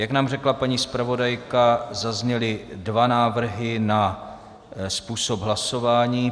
Jak nám řekla paní zpravodajka, zazněly dva návrhy na způsob hlasování.